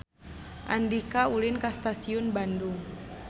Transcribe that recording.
Andika ulin ka Stasiun Bandung